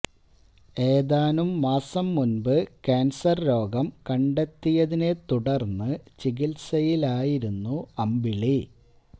ഏതാനും മാസം മുൻപ് കാൻസർ രോഗം കണ്ടെത്തിയതിനെ തുടർന്ന് ചികിത്സയിലായിരുന്നു അമ്പിളി